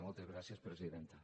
moltes gràcies presidenta